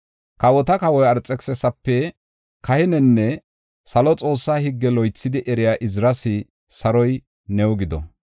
“Kawota Kawa Arxekisisape, kahinenne salo Xoossa higge loythi eriya Iziras, saroy new gido!